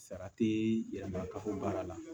Sara ti yɛlɛma ka fɔ baara la